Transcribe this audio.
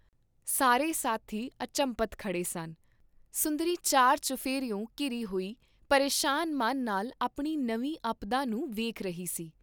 ਸਾਰੇ ਸਾਥੀ ਅਚੰਭਤ ਖੜੇ ਸਨ, ਸੁੰਦਰੀ ਚਾਰ ਚੁਫੇਰਿਓਂ ਘਿਰੀ ਹੋਈ ਪਰੇਸ਼ਾਨ ਮਨ ਨਾਲ ਆਪਣੀ ਨਵੀਂ ਅਪਦਾ ਨੂੰ ਵੇਖ ਰਹੀ ਸੀ।